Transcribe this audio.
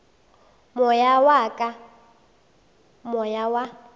moya wa ka moya wa